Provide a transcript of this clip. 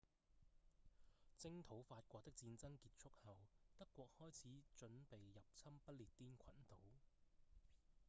征討法國的戰爭結束後德國開始準備入侵不列顛群島